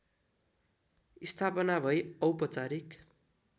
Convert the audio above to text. स्थापना भई औपचारिक